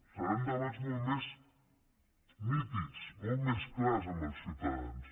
seran debats molt més nítids molt més clars amb els ciutadans